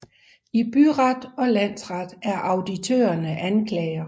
I Byret og Landsret er auditørerne anklager